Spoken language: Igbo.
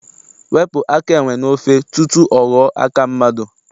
Wepụ aka enwe n'ofe tutu ọ ghọọ aka mmadụ!